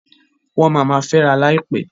Wọ́n ma ma fęra láìpẹ́.